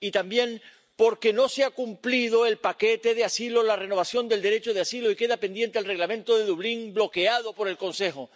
Y, también, porque no se ha cumplido el paquete de asilo, en la renovación del derecho de asilo, y queda pendiente el Reglamento de Dublín, bloqueado por el Consejo.